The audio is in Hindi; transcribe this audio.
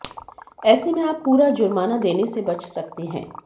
ऐसे में आप पूरा जुर्माना देने से बच सकते हैं